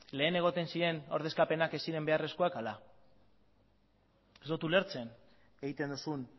lehen egoten ziren ordezkapenak ez ziren beharrezkoak ala ez dut ulertzen egiten duzun